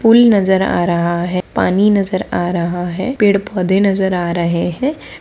पुल नजर आ रहा है पानी नजर आ रहा है पेड़-पौधे नजर आ रहे है।